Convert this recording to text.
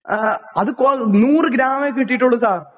ആ അത് കൊ നൂറ് ഗ്രാമേ കിട്ടീട്ടുള്ളൂ സാർ